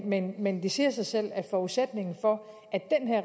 men men det siger sig selv at forudsætningen for